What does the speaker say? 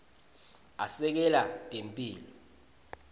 asekela temphilo